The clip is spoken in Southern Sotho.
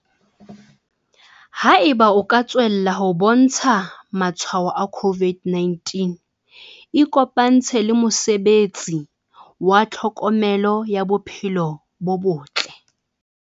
Haeba o ka tswella ho bontsha matshwao a COVID-19 ikopantshe le mosebetsi wa tlhokomelo ya bophelo bo botle.